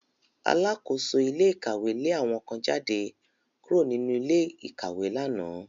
Alákóso ilé ìkàwé lé àwọn kan jáde kúrò nínú ilé ìkàwé lánàá